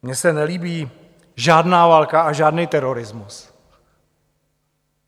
Mně se nelíbí žádná válka a žádný terorismus.